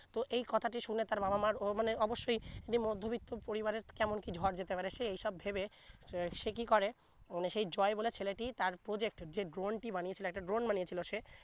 তো এই কথা শুনে তার বাবা মা অ¬ অব্যই যে মধ্যবিত্ত পরিবারের তেমন কি ঝড় যেতে পারে সে এই সব ভেবে সে কি করে সেই জয় বলে ছেলেটি তার project যে drone টি বানিয়েছিলো একটি drone বানিয়েছিলো সে